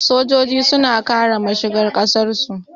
Sojoji suna kare mashigar ƙasar su